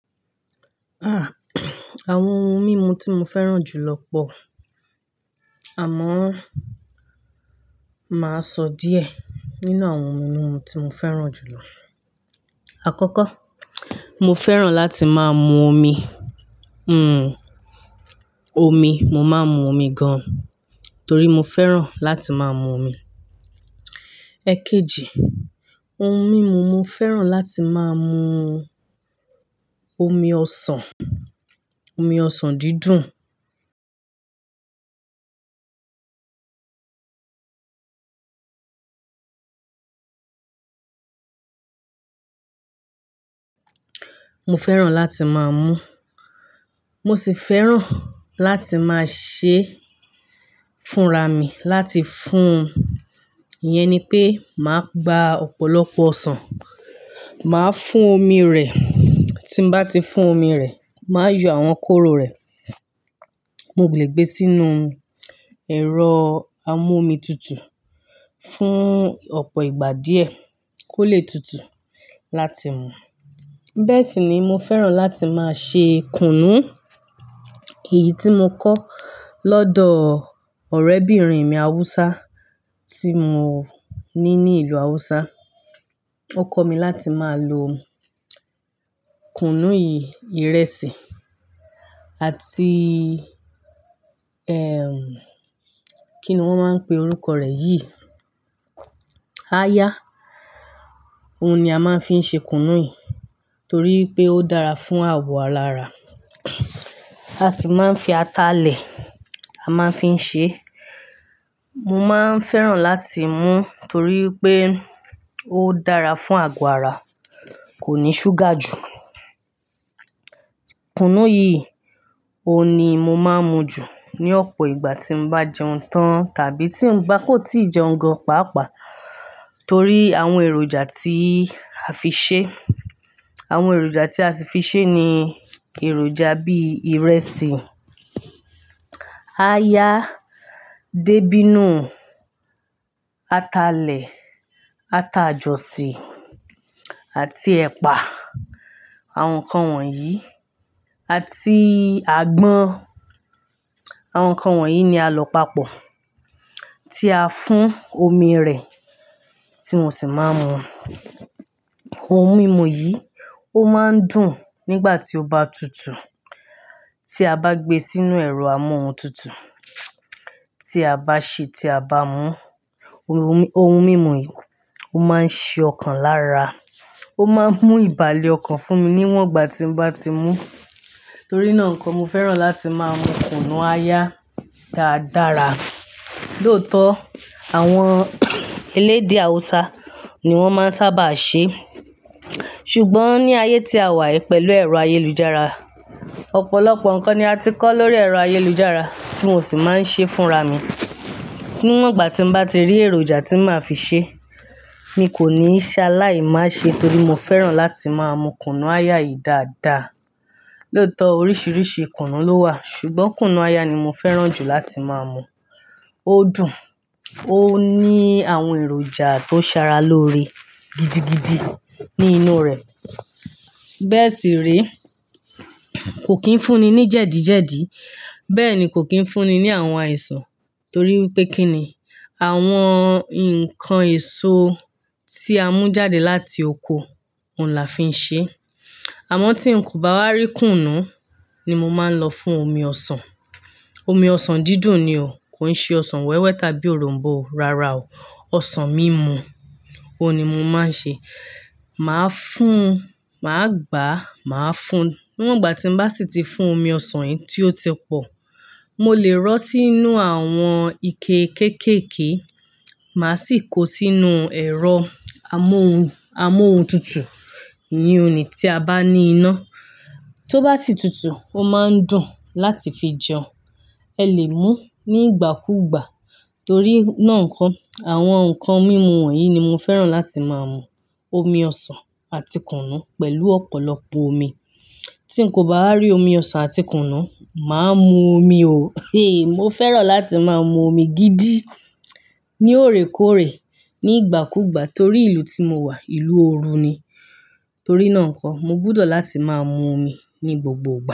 À, àwọn ohun mímu tí mo fẹ́ràn jù lọ pọ̀. Àmọ́ máa sọ díẹ̀ nínú àwọn ohun mímu tí mo fẹ́ràn jù lọ. Àkọ́kọ́, mo fẹ́ràn láti máa mu omi. Hmm, omi. Mo máa ń mu omi gan-an torí mo fẹ́ràn láti máa mu omi. Ẹ̀kejì, ohun mímu mo fẹ́ràn láti máa mu omi ọsàn, omi ọsàn dídùn. Mo fẹ́ràn láti máa mu. Mo sì fẹ́ràn láti máa ṣee fúnra mi láti fún un. Iyẹn ni pé màá gba ọ̀pọ̀lọpọ̀ ọsàn, màá fún omi rẹ̀. Tí ń bá ti fún omi rẹ̀, màá yọ àwọn kóró rẹ̀. Mo gùlè gbé sínú ẹ̀rọ amu-omi tutù fún ọ̀pọ̀ ìgbà díẹ̀ kó lè tutù láti mu. Bẹ́ẹ̀ sì ni mo fẹ́ràn láti máa ṣe kùnú. Èyí tí mo kọ́ lọ́dọ̀ ọ̀rẹ́bìnrin mi Haúsá tí mo ní ní ìlú Haúsá. Ó kọ́ mi láti máa lo kùnú yìí, ìrẹsì àti, ẹm, kí ni wọ́n máa ń pe orúkọ rẹ̀? Yí, aya. Ohun ni a máa ń fi ṣe kùnú yìí torí pé ó dára fún àwọ̀ alarà. A sì máa ń fi atalẹ̀ a máa ń fi ṣe. Mo máa ń fẹ́ràn láti mú torí pé ó dára fún àgọ̀ ara, kò ní ṣúgà jù. Kùnú yìí, òun ni mo máa ń mu jù ní ọ̀pọ̀ ìgbà tí n bá jẹun tán tàbí tí ń bá kò tí ì jẹun gan-an, pàápàá torí àwọn èròjà tí a fi ṣe. Àwọn èròjà tí a si fi ṣe ni èròjà bí ìrẹsì, aya, débínù, atalẹ̀, ata jọ̀sìn àti ẹ̀pà. Àwọn nǹkan wọ̀nyí àti àgbọ̀n. Àwọn nǹkan wọ̀nyí ni a lọ pàpọ̀ tí a fún omi rẹ̀ tí mo sì máa ń mu. Ohun mímu yìí ó máa ń dùn nígbà tí ó bá tutù. Tí a bá gbé e sínú ẹ̀rọ amóhun tutù, tí a bá sè é, tí a bá mú, ohun, ohun mímu yìí ó máa ń ṣe ọkàn lára. Ó máa ń mú ìbàlẹ̀ ọkàn fún mi níwọ̀n ìgbà tí n bá ti mú. Torí náà nǹkan, mo fẹ́ràn láti máa mu kùnú aya dáadára. Lóòótọ́, àwọn eléedé Haúsá ni wọ́n máa ń sábà ṣe. Ṣùgbọ́n ní ayé tí a wà yi pẹ̀lú ẹ̀rọ ayélujára, ọ̀pọ̀lọpọ̀ nǹkan ni a ti kọ́ lórí ẹ̀rọ ayélujára tí mo sì máa ń ṣe fúnra mi. Níwọ̀n ìgbà tí n bá ti rí èròjà tí màá fi ṣe, mi kò ní ṣá láì má ṣe torí mo fẹ́ràn láti máa mu kùnú aya yìí dáadáa. Lóòótọ́ oríṣiríṣi kùnú ló wà ṣùgbọ́n kùnú aya ni mo fẹ́ràn jù láti máa mu. Ó dùn, ó ní àwọn èròjà tó ṣaara lóore gidigidi ní inú rẹ̀. Bẹ́ẹ̀ sì rí. Kò kín fúnni ní jẹ̀díjẹ̀dí. Bẹ́ẹ̀ ni kò kín fúnni ní àwọn àìsàn torí wipé kí ni àwọn ǹkan èso tí a mú jáde láti oko, òun la fi ń ṣe é. Àmọ́ tí n kò bá rí kùnú ni mo máa ń lọ fún omi ọsàn. Omi ọsàn dídùn ni o. Kò ń ṣe ọsàn wẹ́wẹ́ tàbí òronbó o, rárá o. Ọsàn mímu. Óun ni mo máa ń ṣe. Màá fún ún, màá gbá a, màá fún ún. Níwọ̀n ìgbà tí n bá sì ti fún omi ọsàn yìí tí ó ti pọ̀, mo lè rọ́ sí inú àwọn ike kéékèèké, màá sì kó sínú ẹ̀rọ amóhun, amóhun tutù. Iyen ni tí a bá ní iná, tó bá sì tutù, ó máa ń dùn láti fi jẹun. Ẹ lè mú ní ìgbàkúùgbà. Torí náà ǹko, àwọn nǹkan mímu wọ̀nyí ni mo fẹ́ràn láti máa mú. Omi ọsàn àti kùnú pẹ̀lú ọ̀pọ̀lọpọ̀ omi. Tí n kò bá wa rí omi ọsàn àti kùnú, màá mu omi o. Mo fẹ́ràn láti máa mu omi gidi ní òrékọ́ọ̀rẹ́ ní ìgbàkúùgbà torí ìlú tí mo wà, ìlú òru ni. Torí náà ǹko, mo gbúdò láti máa mu omi ní gbogbo ìgbà.